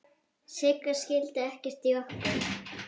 Sigga skildi ekkert í okkur.